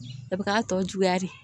A bɛ k'a tɔ juguya de